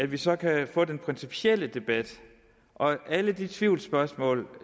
vi så kan få den principielle debat og alle de tvivlsspørgsmål